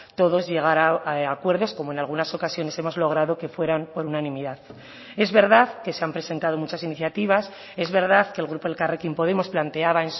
todos llegar a acuerdos como en algunas ocasiones hemos logrado que fueran por unanimidad es verdad que se han presentado muchas iniciativas es verdad que el grupo elkarrekin podemos planteaba